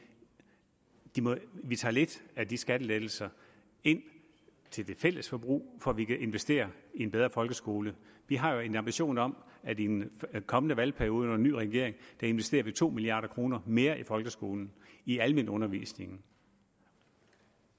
at vi tager lidt af de skattelettelser ind til det fælles forbrug for at vi kan investere i en bedre folkeskole vi har jo en ambition om at vi i den kommende valgperiode under en ny regering investerer to milliard kroner mere i folkeskolen i almenundervisningen